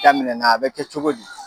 Daminɛna a bɛ kɛ cogo di?